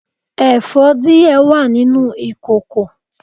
èfó die wa ninu ìkoko